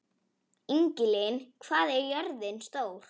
Ingilín, hvað er jörðin stór?